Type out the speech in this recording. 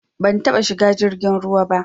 Ban taɓa shiga jirgin ruwa ba.